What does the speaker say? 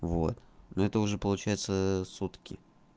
вот ну это уже получается сутки